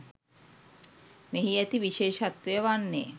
මෙහි ඇති විශේෂත්වය වන්නේ